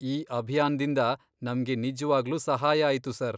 ಈ ಅಭಿಯಾನ್ದಿಂದ ನಮ್ಗೆ ನಿಜವಾಗ್ಲೂ ಸಹಾಯ ಆಯ್ತು ಸರ್.